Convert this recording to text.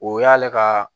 O y'ale ka